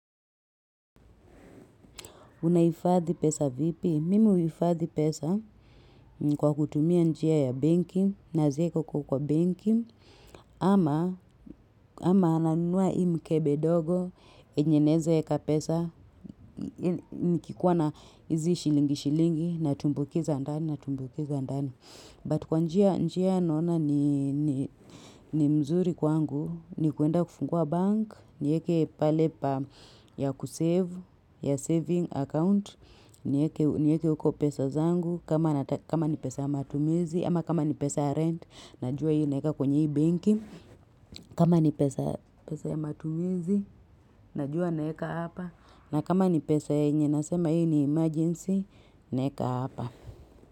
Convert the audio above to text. Unahifadhi pesa vipi? Mimi huhifadhi pesa kwa kutumia njia ya benki, naziweka uko kwa benki, ama ama nanua hii mkebe ndogo yenye naweza weka pesa nikikuwa na hizi shilingi shilingi natumbukiza ndani natumbukiza ndani. But kwa njia njia naona ni ni ni mzuri kwangu ni kwenda kufungua bank, niweke pale pa ya kusave, ya saving account, niweke niweke huko pesa zangu, kama ni pesa ya matumizi, ama kama ni pesa ya rent, najua hiyo naweka kwenye hii benki, kama ni pesa ya pesa ya matumizi, najua naweka hapa, na kama ni pesa yenye nasema hii ni emergency, naweka hapa.